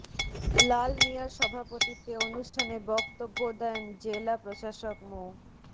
লাল মিয়ার সভাপতিত্বে অনুষ্ঠানে বক্তব্য দেন জেলা প্রশাসক মো